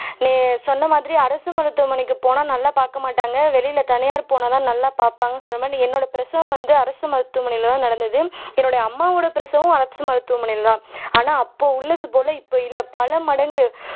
நீ சொன்னமாதிரி அரசு மருத்துவமனைக்கு போனா நல்லா பாக்க மாட்டாங்க வெளில தனியாருக்கு போனாதான் நல்லா பாப்பாங்கன்னு சொன்னமாதிரி என்னோட பிரசவம் வந்து அரசு மருத்துவமனைலதான் நடந்துது என்னோட அம்மாவோட பிரசவம் அரசு மருத்துவமனைலதான் ஆனா அப்போ உள்ளதுபோல இப்போ இல்லை பல மடங்கு